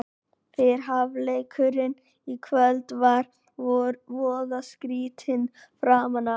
Fyrri hálfleikurinn í kvöld var voða skrýtinn framan af.